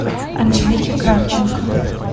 анжелики кравченко